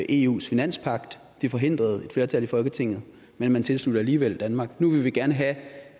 eus finanspagt det forhindrede et flertal i folketinget men man tilsluttede alligevel danmark nu vil vi gerne have